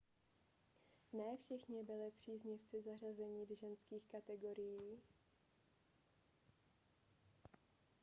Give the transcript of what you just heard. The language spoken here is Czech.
ne všichni byli příznivci zařazení ženských kategorií